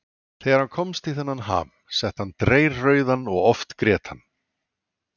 Þegar hann komst í þennan ham, setti hann dreyrrauðan og oft grét hann.